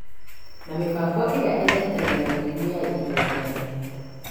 na mĩbango ĩrĩa ĩthaitagĩra mĩrimũ ya ihinda iraya